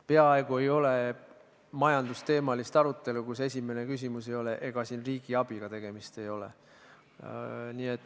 Peaaegu ei ole majandusteemalist arutelu, kus esimene küsimus ei ole, et ega siin riigiabiga tegemist ei ole.